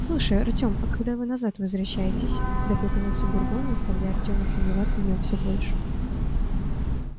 слушай артём а когда вы назад возвращаетесь допытывался бурбон заставляя артёма сомневаться в нём всё больше